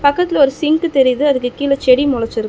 பக்கத்துல ஒரு சிங்க் தெரியிது அதுக்கு கீழ செடி மொளச்சிருக்--